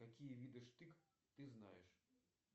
какие виды штык ты знаешь